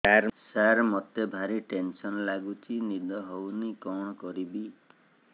ସାର ମତେ ଭାରି ଟେନ୍ସନ୍ ଲାଗୁଚି ନିଦ ହଉନି କଣ କରିବି